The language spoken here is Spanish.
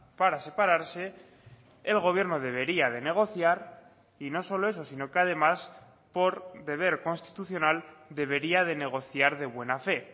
para separarse el gobierno debería de negociar y no solo eso sino que además por deber constitucional debería de negociar de buena fe